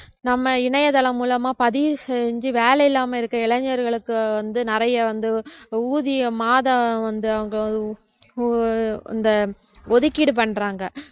நம்ம இணையதளம் மூலமா பதிவு செஞ்சு வேலை இல்லாம இருக்குற இளைஞர்களுக்கு வந்து நிறைய வந்து ஊதிய மாதம் வந்து அவங்க ஒ~ ஒ~ இந்த ஒதுக்கீடு பண்றாங்க